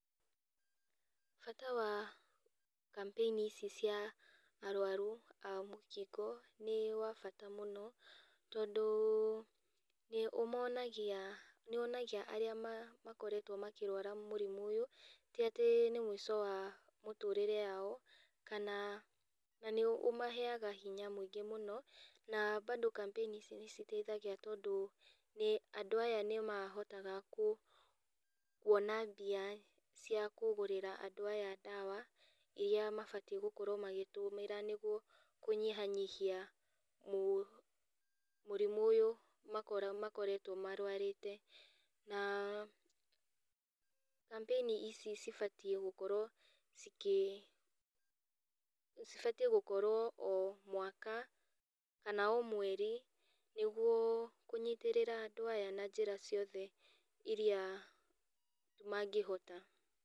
Bata wa kambeini ici cia arwaru a mũkingo, nĩ wabata mũno, tondũ nĩ ũmonagia nĩwonagia arĩa ma makoretwo makĩrwara mũrimũ ũyũ, tĩatĩ nĩ mũico wa mũtũrĩre yao, kana, na nĩũmaheaga hinya mũingĩ mũno, na bado kambeini icio nĩciteithagia tondũ andũ aya nĩmahotaga kũ, kuona mbia cia kũgũrĩra andũ aya ndawa, iria mabatie gũkorwo magĩtũmĩra nĩguo kũnyihanyihia mũ mũrimũ ũyũ, makoretwo marwarĩte. Na, kambeini ici cibatie gũkorwo cikĩ, cibatiĩ gũkorwo o mwaka, kana o mweri, nĩguo kũnyitĩrĩra andũ aya na njĩra ciothe iria mangĩhota.